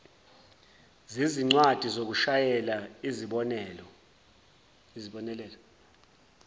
zezincwadi zokushayela izibonelelo